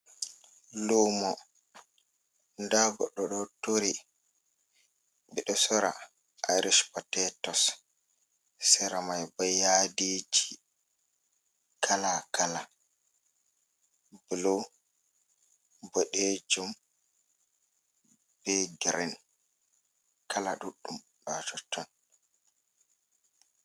Lumo, nda goɗo ɗo tori, ɓeɗo sora arispatetos, sera mai bo yadiji kala - kala, blu, boɗejum, be grin. kala ɗuɗɗum ha tot ton.